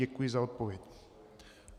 Děkuji za odpověď.